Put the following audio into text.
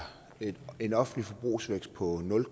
et offentligt forbrug på nul